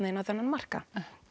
inn á þennan markað